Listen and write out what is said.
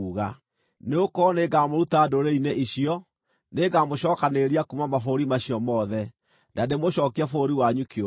“ ‘Nĩgũkorwo nĩngamũruta ndũrĩrĩ-inĩ icio; nĩngamũcookanĩrĩria kuuma mabũrũri macio mothe, na ndĩmũcookie bũrũri wanyu kĩũmbe.